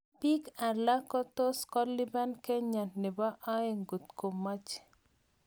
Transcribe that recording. piik alak kotus kolipan kenya nebo aeng ngot komach